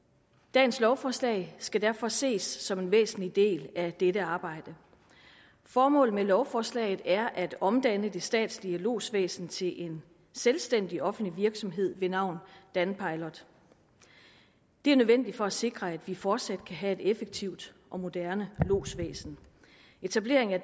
dagens lovforslag skal derfor ses som en væsentlig del af dette arbejde formålet med lovforslaget er at omdanne det statslige lodsvæsen til en selvstændig offentlig virksomhed ved navn danpilot det er nødvendigt for at sikre at vi fortsat kan have et effektivt og moderne lodsvæsen etableringen af